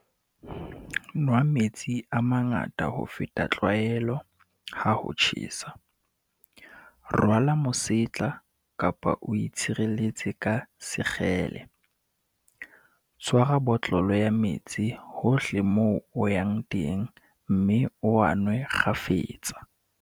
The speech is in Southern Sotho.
Nwa metsi a mangata ho feta tlwaelo, ha ho tjhesa. Rwala mosetla kapa o itshireletse ka sekgele. Tshwara botlolo ya metsi hohle moo o yang teng mme o a nwe kgafetsa.